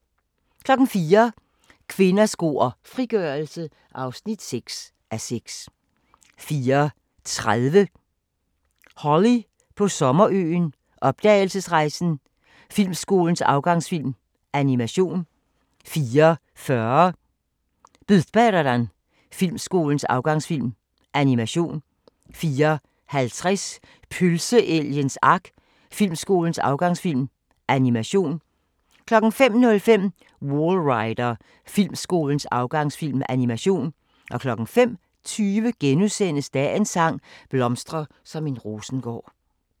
04:00: Kvinder, sko og frigørelse (6:6) 04:30: Holly på Sommerøen: Opdagelsesrejsen – Filmskolens afgangsfilm: Animation 04:40: Budbäraran – Filmskolens afgangsfilm: Animation 04:50: Pølseelgens Ark – Filmskolens afgangsfilm: Animation 05:05: Wallrider – Filmskolens afgangsfilm: Animation 05:20: Dagens sang: Blomstre som en rosengård *